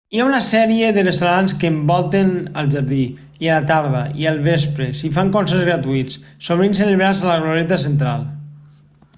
hi ha una sèrie de restaurants que envolten el jardí i a la tarda i al vespre s'hi fan concerts gratuïts sovint celebrats a la glorieta central